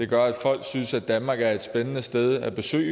gør at folk synes at danmark er et spændende sted at besøge